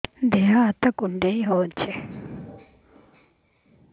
ଦେହ ହାତ କୁଣ୍ଡାଇ ହଉଛି